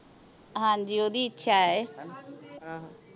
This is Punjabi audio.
ਹਾਂਜੀ ਓਹਦੀ ਇੱਛਾ ਹੀ ਹਾਂ